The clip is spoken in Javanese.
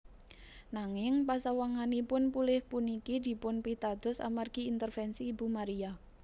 Nanging pasawanganipun pulih puniki dipunpitados amargi intervensi Ibu Maria